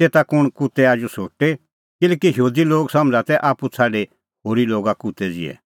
तेता कुंण कुत्तै आजू शोटेकिल्हैकि यहूदी लोग समझ़ा तै आप्पू छ़ाडी होरी लोगा कुत्तै ज़िहै